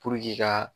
ka